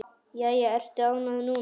Jæja, ertu ánægð núna?